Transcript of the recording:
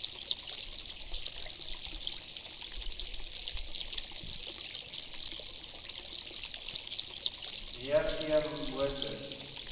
me g moses